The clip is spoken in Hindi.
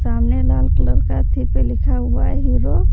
सामने लाल कलर का थी पर लिखा हुआ है हीरो --